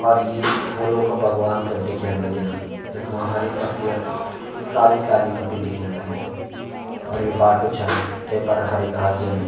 और यीं फूलों का बगवान का दिख्येण लग्याँ जखमा हरी पत्ती अर काली काली पत्ती दिख्येण लगीं और यु बाटू छन तेफर हरी घास जमी।